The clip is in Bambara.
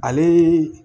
Ale